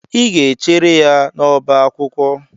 Ị ga-echere ya n'ọbá akwụkwọ!